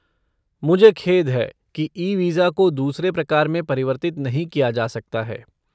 मुझे खेद है कि ई वीज़ा को दूसरे प्रकार में परिवर्तित नहीं किया जा सकता है।